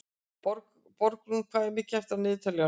Borgrún, hvað er mikið eftir af niðurteljaranum?